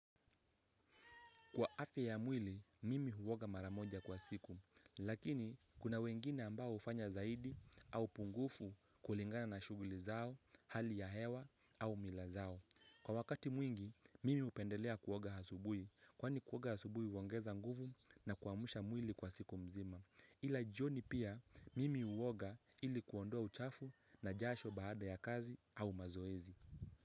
Kwa afya ya mwili, mimi huoga mara moja kwa siku, lakini kuna wengine ambao hufanya zaidi au pungufu kulingana na shuguli zao, hali ya hewa au mila zao. Kwa wakati mwingi, mimi hupendelea kuoga asubuhi, kwani kuoga asubuhi huongeza nguvu na kuamsha mwili kwa siku mzima. Ila jioni pia, mimi huoga ili kuondoa uchafu na jasho baada ya kazi au mazoezi.